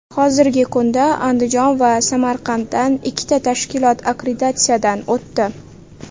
Hozirgi kunda Andijon va Samarqanddan ikkita tashkilot akkreditatsiyadan o‘tdi.